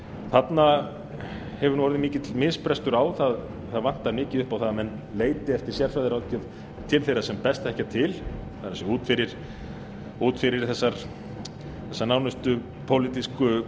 þarna hefur orðið mikill misbrestur á það vantar mikið upp á að menn leiti eftir sérfræðiráðgjöf til þeirra sem best þekkja til það er út fyrir þessa nánustu pólitísku